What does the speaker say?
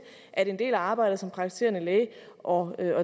at en del af arbejdet som praktiserende læge og